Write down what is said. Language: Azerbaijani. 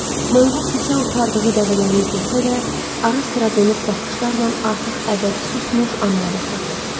Manqurt isə otardığı dəvələri izləsə də, ara-sıra donuq baxışlarla artıq əbədi susmuş anaya baxırdı.